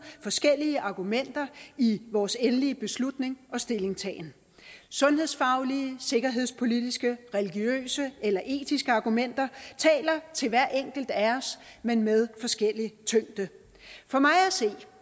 forskellige argumenter i vores endelige beslutning og stillingtagen sundhedsfaglige sikkerhedspolitiske religiøse eller etiske argumenter taler til hver enkelt af os men med forskellig tyngde for mig